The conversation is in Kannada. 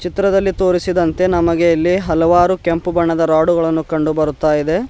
ಚಿತ್ರದಲ್ಲಿ ತೋರಿಸಿದಂತೆ ನಮಗೆ ಇಲ್ಲಿ ಹಲವಾರು ಕೆಂಪು ಬಣ್ಣದ ರಾಡುಗಳನ್ನು ಕಂಡುಬರುತ್ತ ಇದೆ.